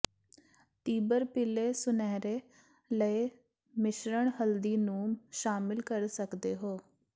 ਤੀਬਰ ਪੀਲੇ ਸੁਨਹਿਰੇ ਲਈ ਮਿਸ਼ਰਣ ਹਲਦੀ ਨੂੰ ਸ਼ਾਮਿਲ ਕਰ ਸਕਦੇ ਹੋ